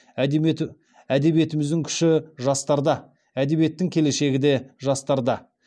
әдебиетіміздің күші жастарда әдебиеттің келешегі де жастарда